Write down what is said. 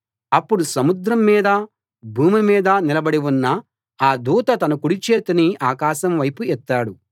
అప్పుడు సముద్రంమీదా భూమిమీదా నిలబడి ఉన్న ఆ దూత తన కుడి చేతిని ఆకాశం వైపు ఎత్తాడు